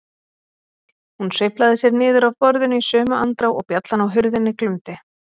Hún sveiflaði sér niður af borðinu í sömu andrá og bjallan á hurðinni glumdi.